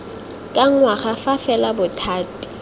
ka ngwaga fa fela bothati